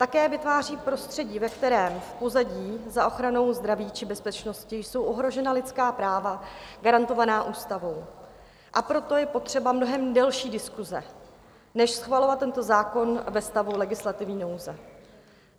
Také vytváří prostředí, ve kterém v pozadí za ochranou zdraví či bezpečnosti jsou ohrožena lidská práva garantovaná ústavou, a proto je potřeba mnohem delší diskuse než schvalovat tento zákon ve stavu legislativní nouze.